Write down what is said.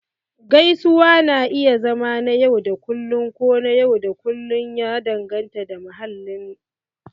Gaisuwa na iya zama na yau da kullun ko na yau da kullun, ya danganta da mahallin